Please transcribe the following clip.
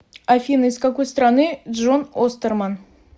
афина из какой страны джон остерман